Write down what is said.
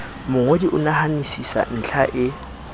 mongodi o nahanisisa ntlha e